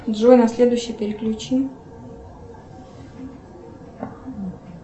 джой на следующий переключи